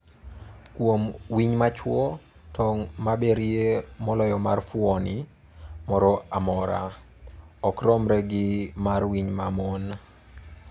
Kuom winy ma chwo, tong' maberie moloyo mar fuoni moro amora, ok romre gi mar winy ma mon.